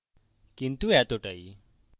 কিন্তু এতটাই